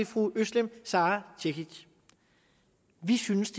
fru özlem sara cekic vi synes